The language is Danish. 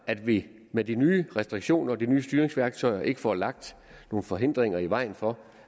at vi med de nye restriktioner og de nye styringsværktøjer ikke får lagt nogen forhindringer i vejen for